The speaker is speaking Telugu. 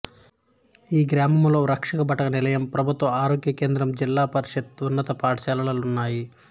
ఈ గ్రామంలో రక్షభటనిలయం ప్రభుత్వ ఆరోగ్యకేంద్రం జిల్లా పరిషత్ ఉన్నత పాఠశాలలు ఉన్నాయి